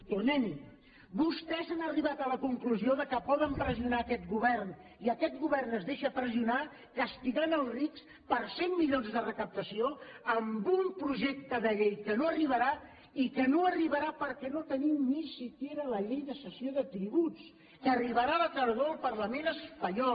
tornem hi vostès han arribat a la conclusió que poden pressionar aquest govern i aquest govern es deixa pressionar castigant els rics per cent milions de recaptació amb un projecte de llei que no arribarà i que no arribarà perquè no tenim ni tan sols la llei de cessió de tributs que arribarà a la tardor al parlament espanyol